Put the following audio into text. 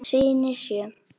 Syni sjö.